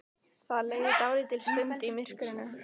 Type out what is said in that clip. Það leið dálítil stund í myrkrinu.